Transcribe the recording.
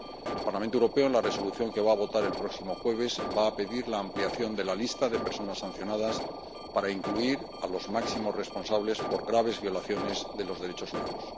El Parlamento Europeo, en la Resolución que va a votar el próximo jueves, va a pedir la ampliación de la lista de personas sancionadas para incluir a los máximos responsables por graves violaciones de los derechos humanos.